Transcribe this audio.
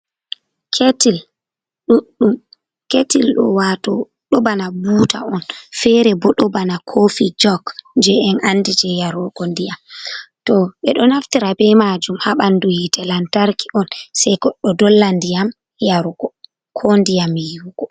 Ketil ɗuɗɗum wato ɗo bana buta on, fere bo ɗo bana kofi jog je en andi je yarugo ndiyam, to ɓe ɗo naftira be majum ha ɓandu hite lantarki on sei ko ɗo dolla ndiyam yarugo ko ndiyam yiwugo.